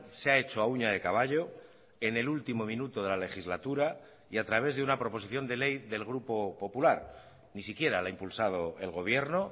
se ha hecho a uña de caballo en el último minuto de la legislatura y a través de una proposición de ley del grupo popular ni siquiera la ha impulsado el gobierno